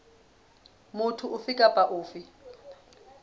motho ofe kapa ofe a